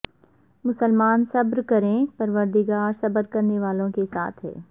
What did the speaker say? مسلمان صبر کریں پروردگار صبر کرنے والوں کے ساتھ ہے